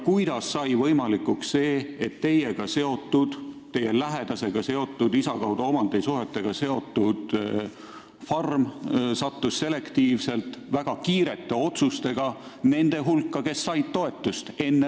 Kuidas sai võimalikuks see, et teiega seotud, teie lähedasega seotud, tema isa kaudu omandisuhetega seotud farm sattus selektiivsete ja väga kiirete otsuste tõttu nende hulka, kes said toetust?